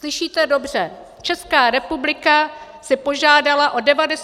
Slyšíte dobře, Česká republika si požádala o 97 výjimek.